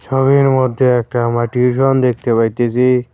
ছবির মধ্যে একটা মাটির রং দেখতে পাইতেসি।